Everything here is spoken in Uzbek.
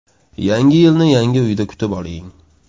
Yangi yilni yangi uyda kutib oling!.